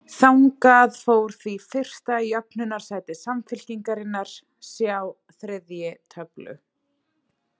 Þangað fór því fyrsta jöfnunarsæti Samfylkingarinnar, sjá þriðji töflu.